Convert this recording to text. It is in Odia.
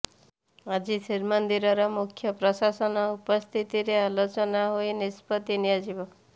ଆଜି ଶ୍ରୀମନ୍ଦିର ମୁଖ୍ୟ ପ୍ରଶାସନ ଉପସ୍ଥିତିରେ ଆଲୋଚନା ହୋଇ ନିଷ୍ପତ୍ତି ନିଆଯିବ